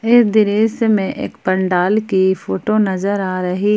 इस दृश्य मे एक पंडाल की फोटो नजर आ रही--